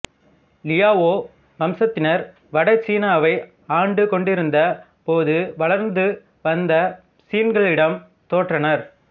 Liao வம்சத்தினர் வட சீனாவை ஆண்டு கொண்டிருந்தபோது வளர்ந்து வந்த சின்களிடம் தோற்றனர்